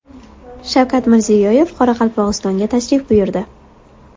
Shavkat Mirziyoyev Qoraqalpog‘istonga tashrif buyurdi.